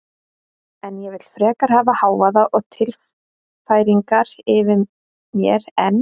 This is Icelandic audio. En ég vil frekar hafa hávaða og tilfæringar yfir mér en